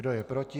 Kdo je proti?